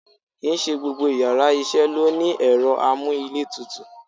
Ki n se gbọ́gbọ́ íyarà iṣẹ lo ni erọ́ amú íle tútú